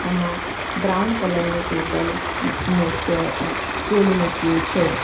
આમાં brown colour નું table ને ચે અહ સ્ટુલ મૂક્યું છે.